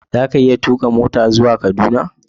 Za ka iya tuka mota zuwa Kaduna?